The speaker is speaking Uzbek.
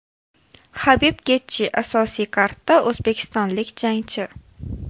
Habib Getji, asosiy kardda o‘zbekistonlik jangchi.